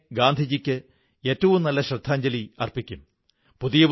ഒരുമിച്ച് അനേകം വൈശിഷ്ട്യങ്ങളുള്ള വ്യക്തിത്വങ്ങൾ വളരെ കുറച്ചേ ഉണ്ടാകൂ